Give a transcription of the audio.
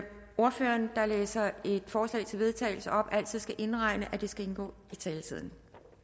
at ordføreren der læser et forslag til vedtagelse op altid skal indregne at det skal indgå i taletiden